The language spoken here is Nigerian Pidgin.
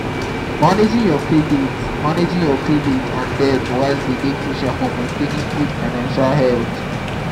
managing your credit managing your credit and debit wisely dey crucial for maintainng good financial health.